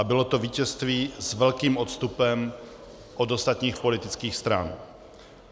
A bylo to vítězství s velkým odstupem od ostatních politických stran.